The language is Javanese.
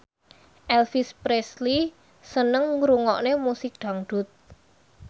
Elvis Presley seneng ngrungokne musik dangdut